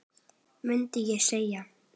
mundi ég segja.